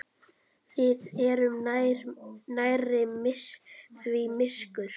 Við erum nærri því myrkur